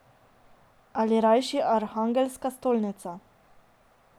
Ali rajši Arhangelska stolnica.